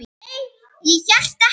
Nei, ég hélt ekki.